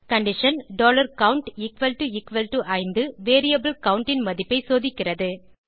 condition count equal to equal to 5 variable count ன் மதிப்பை சோதிக்கிறது